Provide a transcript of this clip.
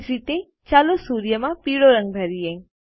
એ જ રીતે ચાલો સૂર્યમાં પીળો રંગ ભરીયે